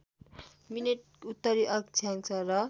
minute उत्तरी अक्षांस र